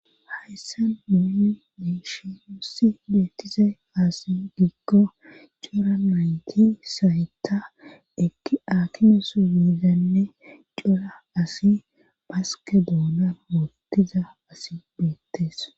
hayssan nun beyishin nusi beettize kaasi gikko cora mayti saytta ekki akines yiizanne cora asi baske doonan motiza asi beettes